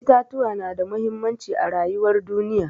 Itatuwa na da muhimmanci a rayuwar duniya.